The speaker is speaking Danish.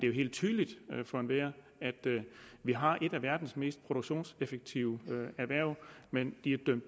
jo helt tydeligt for enhver at vi har et af verdens mest produktionseffektive erhverv men